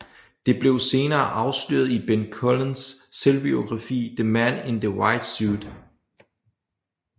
Det blev senere afsløret i Ben Collins selvbiografi The Man in the White Suit